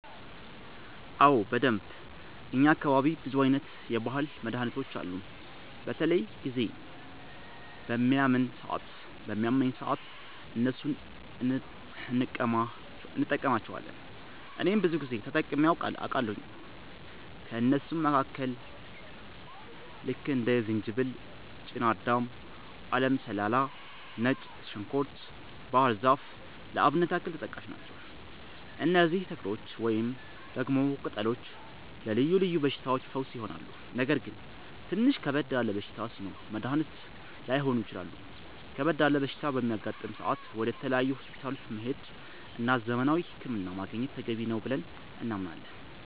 አዎ በደንብ፣ እኛ አካባቢ ብዙ አይነት የባህል መድሀኒቶች አሉ። በተለያየ ጊዜ በሚያመን ሰአት እነሱን እንቀማለቸዋለን እኔም ብዙ ጊዜ ተጠቅሜ አቃለሁኝ። ከእነሱም መካከል ልክ እንደ ዝንጅበል፣ ጤናዳም፣ አለም ሰላላ፣ ነጭ ዝንኩርት፣ ባህር ዛፍ ለአብነት ያክል ተጠቃሽ ናቸው። እነዚህ ተክሎች ወይንም ደግሞ ቅጠሎች ለልዮ ልዮ በሽታዎች ፈውስ ይሆናሉ። ነገር ግን ትንሽ ከበድ ያለ በሽታ ሲኖር መድኒት ላይሆኑ ይችላሉ ከበድ ያለ በሽታ በሚያጋጥም ሰአት ወደ ተለያዩ ሆስፒታሎች መሄድ እና ዘመናዊ ህክምና ማግኘት ተገቢ ነው ብለን እናምናለን።